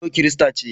No kirista ce.